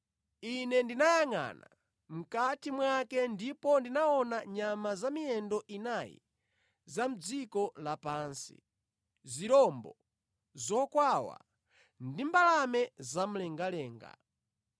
Ine ndinayangʼana mʼkati mwake ndipo ndinaona nyama za miyendo inayi za mʼdziko lapansi, zirombo, zokwawa, ndi mbalame zamlengalenga.